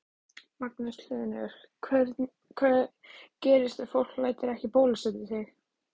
Magnús Hlynur: Hvað gerist ef fólk lætur ekki bólusetja sig?